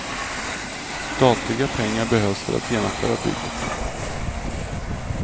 Statliga pengar behövs för att genomföra bygget.